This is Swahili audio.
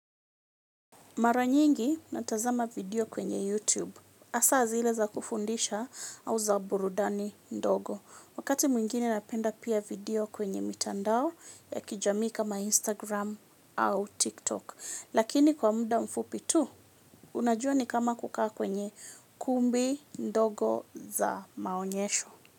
Mara nyingi natazama video kwenye YouTube. Hasa zile za kufundisha au za burudani ndogo. Wakati mwingine napenda pia video kwenye mitandao ya kijamii kama Instagram au TikTok. Lakini kwa muda mfupi tu, unajua ni kama kukaa kwenye kumbi ndogo za maonyesho.